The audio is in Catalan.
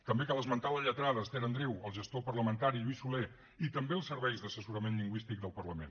també cal esmentar la lletrada esther andreu el gestor parlamentari lluís soler i també els serveis d’assessorament lingüístic del parlament